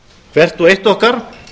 hvert og eitt okkar